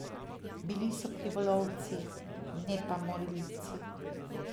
Bili so krivolovci, ne pa morilci.